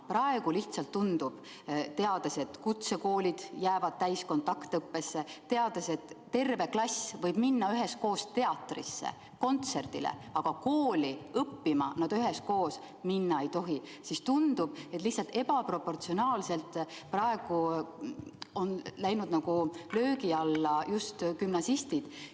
Praegu lihtsalt tundub – me teame, et kutsekoolid jäävad täiskontaktõppele, et terve klass võib minna üheskoos teatrisse või kontserdile, aga kooli õppima nad üheskoos minna ei tohi –, et ebaproportsionaalselt on löögi alla sattunud just gümnasistid.